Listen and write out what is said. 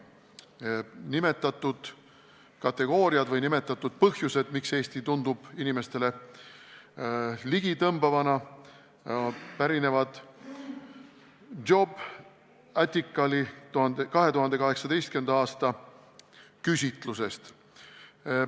Need nimetatud kategooriad või põhjused, miks Eesti tundub inimestele ligitõmbavana, pärinevad Jobbaticali 2018. aasta küsitlusest.